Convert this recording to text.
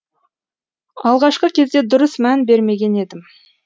алғашқы кезде дұрыс мән бермеген едім